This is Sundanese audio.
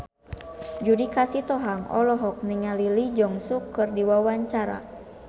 Judika Sitohang olohok ningali Lee Jeong Suk keur diwawancara